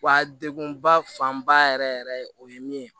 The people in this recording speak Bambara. Wa degun ba fanba yɛrɛ yɛrɛ o ye min ye